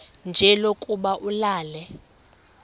nje lokuba ulale